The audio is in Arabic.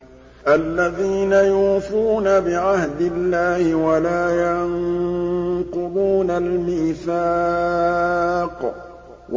الَّذِينَ يُوفُونَ بِعَهْدِ اللَّهِ وَلَا يَنقُضُونَ الْمِيثَاقَ